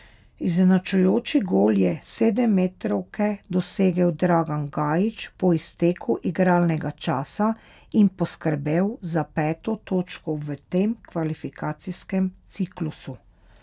Izenačujoči gol je s sedemmetrovke dosegel Dragan Gajić po izteku igralnega časa in poskrbel za peto točko v tem kvalifikacijskem ciklusu.